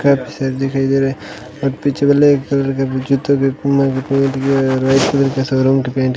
cup सा दिखाई दे रहा है और पीछे बले एक शोरूम दिखाई --